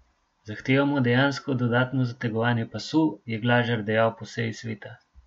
Zahtevamo dejansko dodatno zategovanje pasu, je Glažar dejal po seji sveta.